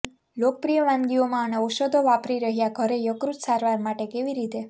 લોકપ્રિય વાનગીઓમાં અને ઔષધો વાપરી રહ્યા ઘરે યકૃત સારવાર માટે કેવી રીતે